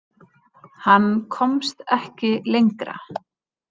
Hann komst ekki lengra.